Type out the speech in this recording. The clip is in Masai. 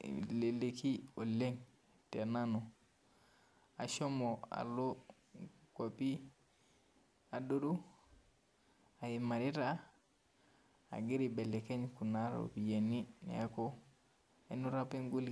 eleleki oleng tenanu ashomo alo ngwapi adoru aimarita agira aibelekeny kuna ropiyani neaku ainoto apa engoliki